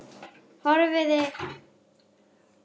Horfði á bílana sem æddu framhjá.